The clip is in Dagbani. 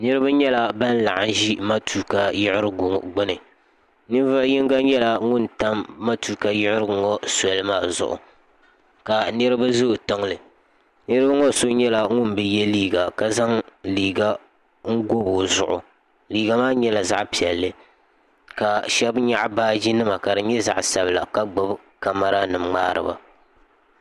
niraba nyɛla bin laɣam ʒi matuuka yiɣirigu ŋo gbuni ninvuɣu yino nyɛla ŋun tam matuuka yiɣirigu maa soli maa zuɣu ka niraba ʒɛ o tiŋli niraba ŋo so nyɛla ŋun bi yɛ liiga ka zaŋ liiga o gobi o zuɣu liiga maa nyɛla zaɣ piɛlli ka shab nyaɣa baaji nima ka di nyɛ zaɣ sabila ka gbubi kamɛra nim ŋmaariba